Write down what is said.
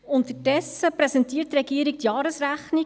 Unterdessen präsentiert die Regierung die Jahresrechnung: